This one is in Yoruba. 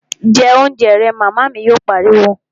Jẹ oúnjẹ rẹ', Màmá mi yóò pariwo